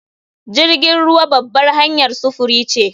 Jirgin ruwa babbar hanyar sufuri ce